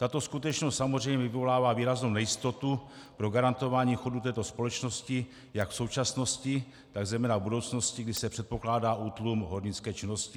Tato skutečnost samozřejmě vyvolává výraznou nejistotu pro garantování chodu této společnosti jak v současnosti, tak zejména v budoucnosti, kdy se předpokládá útlum hornické činnosti.